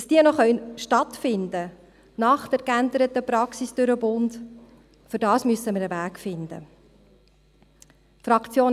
Wir müssen nach der geänderten Praxis durch den Bund einen Weg finden, damit diese Lager noch stattfinden können.